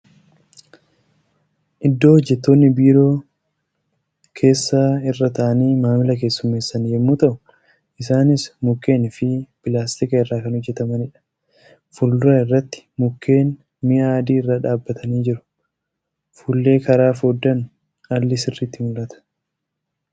Iddoo hojjattoonni biiroo keessa irra taa'anii maamila keessummeessan yemmuu ta'u isaanis mukken fi pilaastika irraa kan hojjatamaniidha. Fuuldura irratti mukkeen mi'a adii irra dhaabbatanii jiru. Fuullee karaa foddaan alli sirriitti mul'ata.